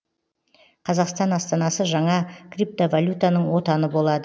қазақстан астанасы жаңа криптовалютаның отаны болады